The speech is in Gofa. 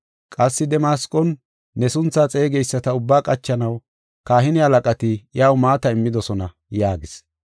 Qassi Damasqon ne sunthaa xeegeyisata ubba qachanaw, kahine halaqati iyaw maata immidosona” yaagis.